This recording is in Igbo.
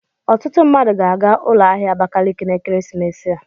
Ọtụtụ mmadụ ga-aga ụlọ ahịa Abakaliki na ekeresimesi a.